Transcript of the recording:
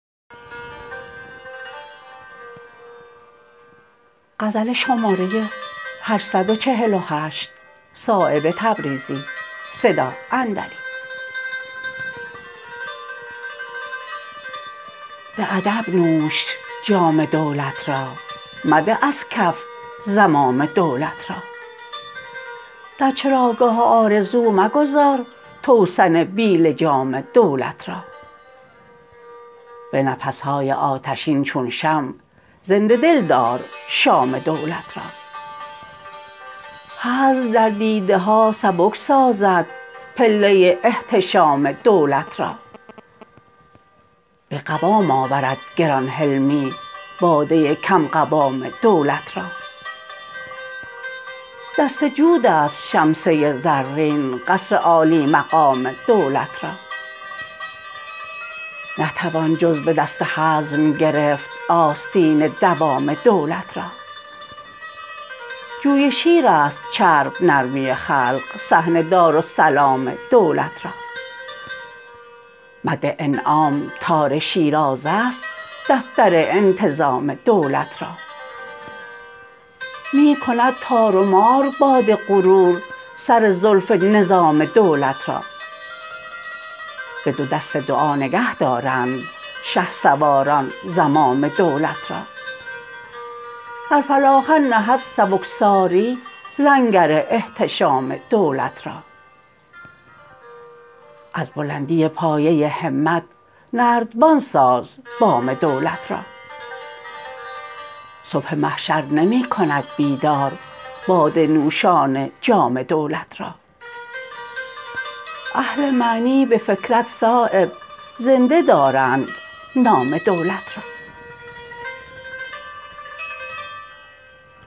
به ادب نوش جام دولت را مده از کف زمام دولت را در چراگاه آرزو مگذار توسن بی لجام دولت را به نفس های آتشین چون شمع زنده دل دار شام دولت را هزل در دیده ها سبک سازد پله احتشام دولت را به قوام آورد گران حلمی باده کم قوام دولت را دست جودست شمسه زرین قصر عالی مقام دولت را نتوان جز به دست حزم گرفت آستین دوام دولت را جوی شیرست چرب نرمی خلق صحن دارالسلام دولت را مد انعام تار شیرازه است دفتر انتظام دولت را می کند تار و مار باد غرور سر زلف نظام دولت را به دو دست دعا نگه دارند شهسواران زمام دولت را در فلاخن نهد سبکساری لنگر احتشام دولت را از بلندی پایه همت نردبان ساز بام دولت را صبح محشر نمی کند بیدار باده نوشان جام دولت را اهل معنی به فکرت صایب زنده دارند نام دولت را